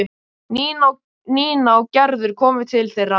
Nína og Gerður komu til þeirra.